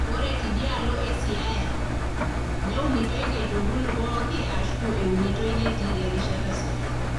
Ore tidialo e Siaya, neunitoi nkaitubulu pookin ashu eunitoi netii erishata sidai.